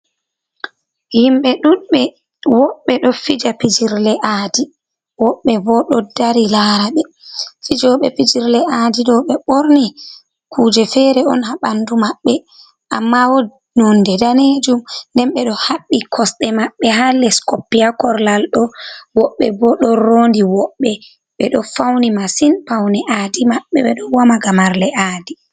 Himɓe ɗuɗɓe woɓɓe do fija pijirle aaɗi. Woɓɓe bo ɗo ɗari lara be. fijoɓe pijirle aɗi ɗo, ɓe ɓorni kuje fere on ha banɗu maɓɓe. Amma wononde ɗanejum. Nden be ɗo haɓɓi kosɗe maɓɓe ha les koppi ha korlal ɗo. Woɓɓe bo ɗo ronɗi woɓɓe ɓe ɗo fauni masin. Paune adi maɓɓe ɓe do wama gamarle aaɗi.